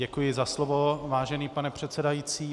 Děkuji za slovo, vážený pane předsedající.